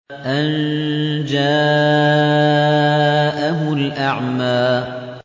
أَن جَاءَهُ الْأَعْمَىٰ